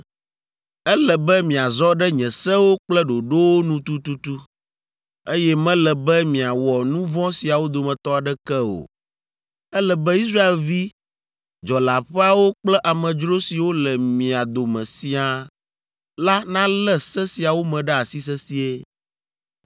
Ele be miazɔ ɖe nye sewo kple ɖoɖowo nu tututu, eye mele be miawɔ nu vɔ̃ siawo dometɔ aɖeke o. Ele be Israelvi dzɔleaƒeawo kple amedzro siwo le mia dome siaa la nalé se siawo me ɖe asi sesĩe.